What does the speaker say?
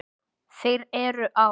Þeir eru á